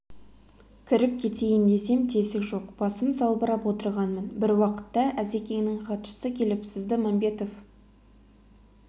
кіріп кетейін десем тесік жоқ басым салбырап отырғанмын бір уақытта әзекеңнің хатшысы келіп сізді мәмбетов